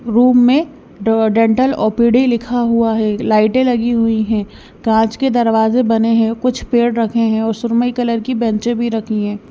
Room में ड dental OPD लिखा हुआ है लाइटें लगी हुई है कांच के दरवाजे बने हैं कुछ पेड़ रखे हैं और सुरमई कलर की बेचें भी रखी हैं।